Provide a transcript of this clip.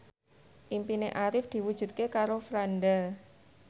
impine Arif diwujudke karo Franda